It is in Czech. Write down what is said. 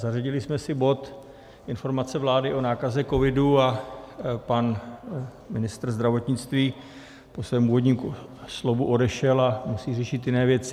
Zařadili jsme si bod Informace vlády o nákaze covidu, a pan ministr zdravotnictví po svém úvodním slovu odešel a musí řešit jiné věci.